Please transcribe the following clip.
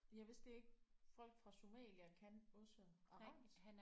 Jeg vidste ikke folk fra Somalia kan også arabisk